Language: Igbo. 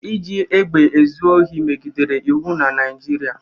Iji egbe ezu ohi megidere iwu na Naịjirịa.